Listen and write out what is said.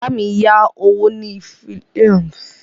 Ọ̀gá mi yá owó ní ilé ìfowópamọ́ Fidelity lóṣù tó kọjá.